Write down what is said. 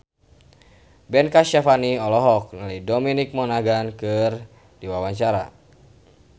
Ben Kasyafani olohok ningali Dominic Monaghan keur diwawancara